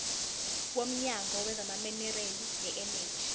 womnyango wezamaminerali neeneji